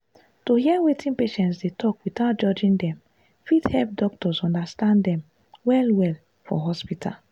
to hear wetin patients dey talk without judging dem fit help doctors understand dem well-well for hospital.